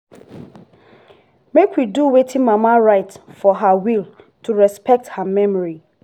make we do wetin mama write for her will to respect her memory